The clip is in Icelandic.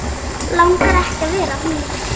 Langar ekki að vera hún.